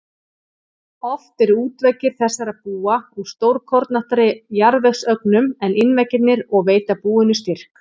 Oft eru útveggir þessara búa úr stórkornóttari jarðvegsögnum en innveggirnir og veita búinu styrk.